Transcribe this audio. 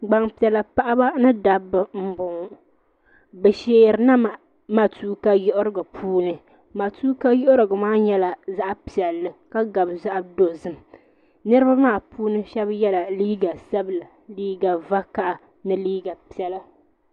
gbanpiɛlla paɣ' ba ni daba n boŋɔ be shʋrina matuka yirigi puuni matukayirigi nyɛla zaɣ' piɛli ka gabi zaɣ' dozim niriba maa puuni shɛba yɛla liga sabilinli liga vukaha ni liga piɛla